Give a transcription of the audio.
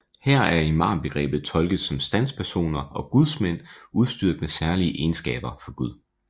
Her er imambegrebet tolket som standspersoner og gudsmænd udstyret med særlige egenskaber fra Gud